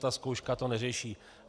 Ta zkouška to neřeší.